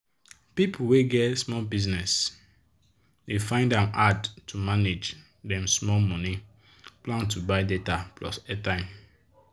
people wey get small business dey find ahm hard to manage dem small money plan to buy data plus airtime.